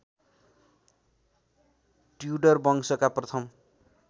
Tudor वंशका प्रथम